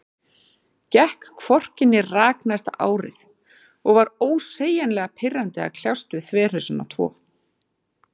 Gekk hvorki né rak næsta árið, og var ósegjanlega pirrandi að kljást við þverhausana tvo.